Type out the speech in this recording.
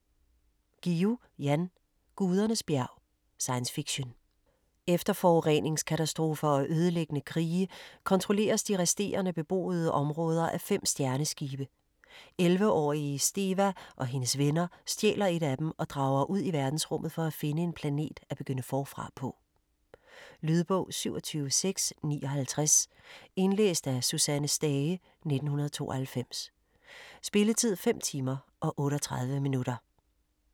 Guillou, Jan: Gudernes bjerg Science fiction. Efter forureningskatastrofer og ødelæggende krige kontrolleres de resterende beboede områder af 5 stjerneskibe. 11-årige Steva og hendes venner stjæler et af dem og drager ud i verdensrummet for at finde en planet at begynde forfra på. Lydbog 27659 Indlæst af Susanne Stage, 1992. Spilletid: 5 timer, 38 minutter.